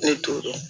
Ne tor'o dɔn